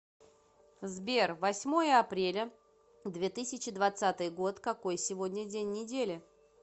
сбер восьмое апреля две тысячи двадцатый год какой сегодня день недели